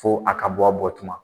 Fo a ka bɔ a bɔ tuma.